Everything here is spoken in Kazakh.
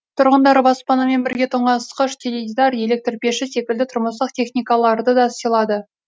тұрғындар баспанамен бірге тоңазытқыш теледидар электр пеші секілді тұрмыстық техникаларды да сыйлады